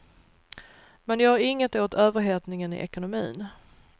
Man gör inget åt överhettningen i ekonomin.